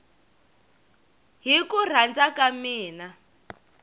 hi ku rhandza ka mina